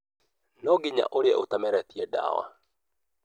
No nginya ũrĩe ũtameretie ndawa